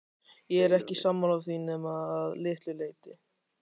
Ég er ekki sammála því nema að litlu leyti.